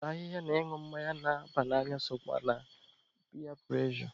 Ịse ahịhịa na ịñụ mmanya na-aba n'anya sokwa na piya prụrejọ.